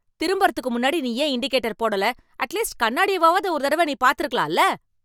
திரும்புறதுக்கு முன்னாடி நீ ஏன் இண்டிகேட்டர் போடல? அட்லீஸ்ட் கண்ணாடியவாவது ஒரு தடவ நீ பாத்து இருக்கலாம் இல்ல.